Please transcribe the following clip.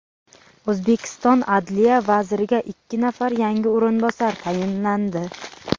O‘zbekiston adliya vaziriga ikki nafar yangi o‘rinbosar tayinlandi.